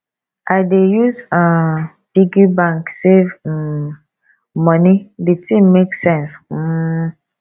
i dey use um piggy bank save um moni di tin make sense um